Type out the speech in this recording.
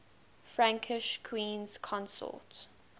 frankish queens consort